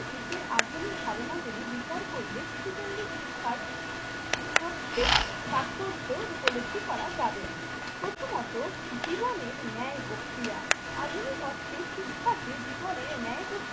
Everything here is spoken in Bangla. দিকের আধুনিক ধারণা গুলি বিচার করলে শিশু কেন্দ্রিক শিক্ষার প্রত্যেক তাথপরজ উপলব্ধি করা যাবে। প্রথমত জীবনের ন্যায় প্রক্রিয়া আধুনিক অর্থে শিক্ষাকে জীবনের ন্যায় প্রক্রিয়া